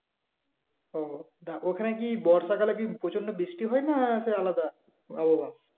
ওটা ওখানে কি বর্ষাকালে কি প্রচন্ড বৃষ্টি হয় না সে আলাদা? ও